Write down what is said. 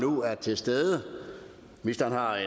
nu er til stede ministeren har